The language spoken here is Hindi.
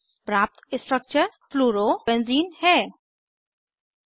प्राप्त स्ट्रक्चर फ्लोरोबेंज़ीन फ्लोरोबेंज़ीन है